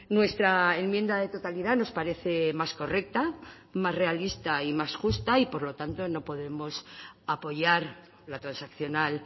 nuestra enmienda de totalidad nos parece más correcta más realista y más justa y por lo tanto no podemos apoyar la transaccional